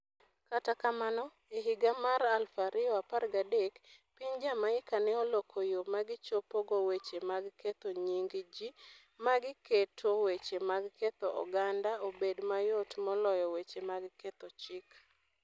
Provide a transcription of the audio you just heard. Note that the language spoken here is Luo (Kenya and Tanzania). Kata kamano, e higa mar 2013, piny Jamaica ne oloko yo ma gichopogo weche mag ketho nying ji, ma giketo weche mag ketho oganda obed mayot moloyo weche mag ketho chik.